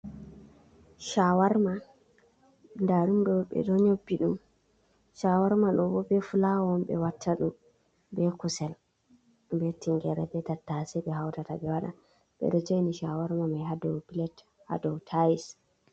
Shawarma da ɗum ɗo ɓedo nyobbi ɗum, shawarma ɗobo be fulawa on ɓe wattadu, be kusel, be tingere, be tattase, ɓe hautata ɓe wada. Ɓedo joini shawarma mai hadau pilat hadou tais.